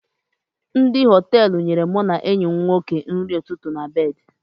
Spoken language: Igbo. Ndị Họtelụ nyere mụ na enyi m nwoke nri ụtụtụ na bedị